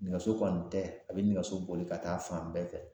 Nɛgɛso kɔni tɛ a bi nɛgɛso boli ka taa fan bɛɛ fɛ